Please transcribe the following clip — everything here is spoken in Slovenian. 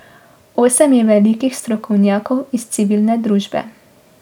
Osem je velikih strokovnjakov iz civilne družbe.